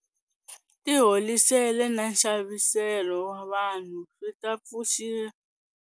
Tiholisele na nxaviselo wa vanhu swi ta pfuriwa.